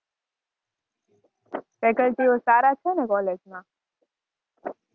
Faculty ઓ સારા છે ને college માં?